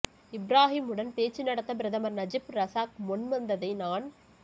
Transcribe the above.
இப்ராஹிமுடன் பேச்சு நடத்த பிரதமர் நஜிப் ரசாக் முன் வந்ததை நான்